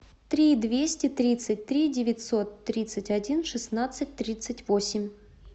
три двести тридцать три девятьсот тридцать один шестнадцать тридцать восемь